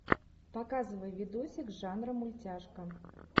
показывай видосик жанра мультяшка